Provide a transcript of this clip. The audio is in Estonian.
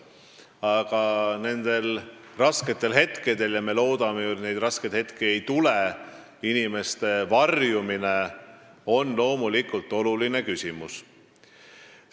Aga rasketel hetkedel – me loodame küll, et neid hetki ei tule – on inimeste varjumine loomulikult oluline küsimus.